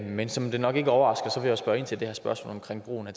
men som det nok ikke overrasker vil jeg spørge ind til det her spørgsmål omkring brugen af